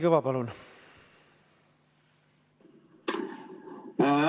Kalvi Kõva, palun!